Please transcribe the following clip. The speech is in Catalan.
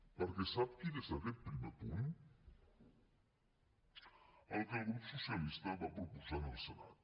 perquè sap quin és aquest primer punt el que el grup socialista va proposar en el senat